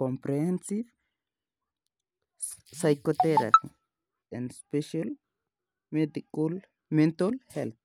comprehensive physiotheraphy and special mental healthy.